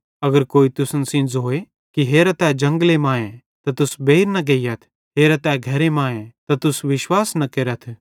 अगर कोई तुसन सेइं ज़ोए कि हेरा तै जंगले मांए त तुस बेइर न गेइयथ हेरा तै घरे मांए त तुस विश्वास न केरथ